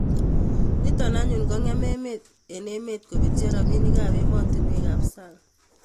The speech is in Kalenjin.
Nito anyun kongem emet eng emet kobetyo robinikab emotinwekab sang